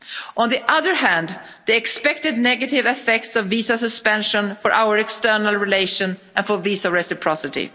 On the other hand, the expected negative effects of visa suspension for our external relations and visa reciprocity.